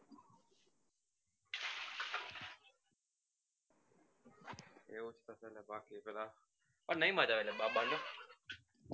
નહિ મજા આવે પણ